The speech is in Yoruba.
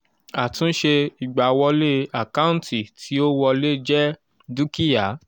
àtúnṣe ìgbàwọlé àkáǹtì tí ó wọlé jẹ dúkìá.